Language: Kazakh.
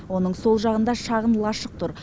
оның сол жағында шағын лашық тұр